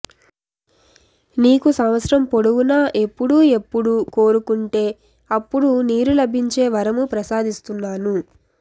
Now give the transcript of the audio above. నీకు సంవత్సరం పొడవునా ఎప్పుడు ఎప్పుడు కోరుకుంటే అప్పుడు నీరు లభించే వరము ప్రసాదిస్తున్నాను